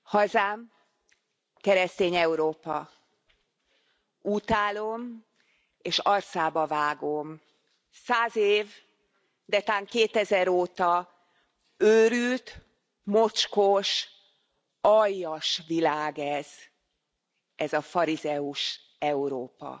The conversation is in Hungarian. Tisztelt Elnök Úr! Hazám, keresztény Európa. Útálom és arcába vágom Száz év, de tán kétezer óta őrült, mocskos, aljas világ ez, ez a farizeus Európa!